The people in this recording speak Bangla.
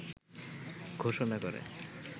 ঘোষণা করে